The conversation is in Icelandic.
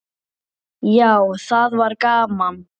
Já, það var gaman.